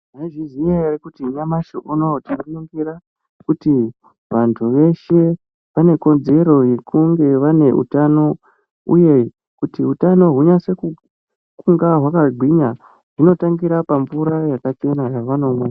Mwaizviziya ere kuti nyamashi unowu tinoningira kuti vantu veshe vane kodzero yekunge vane utano uye kuti utano hunyase kunga hwakagwinya hunotangira pamvura yakachena yavanomwa.